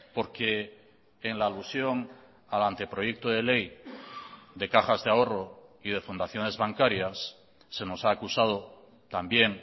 porque en la alusión al anteproyecto de ley de cajas de ahorro y de fundaciones bancarias se nos ha acusado también